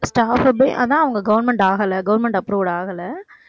staff பே அதான் அவங்க government ஆகலை. government approved ஆகலை